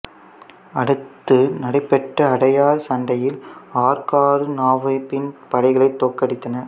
அடுத்து நடைபெற்ற அடையார் சண்டையில் ஆற்காடு நவாபின் படைகளைத் தோற்கடித்தன